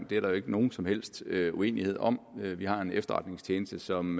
det er der ikke nogen som helst uenighed om vi har en efterretningstjeneste som